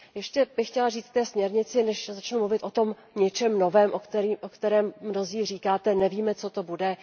Ještě bych chtěla říct k té směrnici, než začnu mluvit o tom něčem novém, o kterém mnozí říkáte, že nevíme, co to bude.